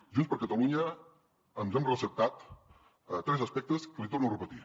junts per catalunya ens hem receptat tres aspectes que els hi torno a repetir